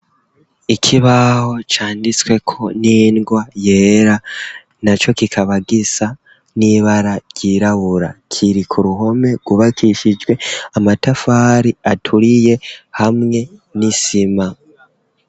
Ikibaho canditswe ko n'ingwa yera na cyo kikaba gisa n'ibara ryirabura kiriku ruhome kubakishijwe amatafari aturiye hamwe n'isima.